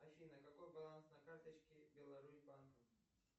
афина какой баланс на карточке беларусь банка